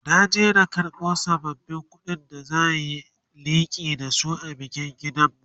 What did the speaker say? na je na karbo sabbabin ƙuɗin da zan Yi liƙi da su a bikin gidanmu